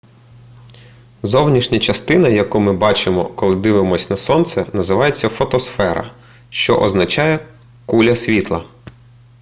зовнішня частина яку ми бачимо коли дивимося на сонце називається фотосфера що означає куля світла